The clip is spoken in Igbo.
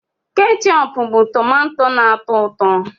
Kéchoopu bụ tómantó na-atọ ụtọ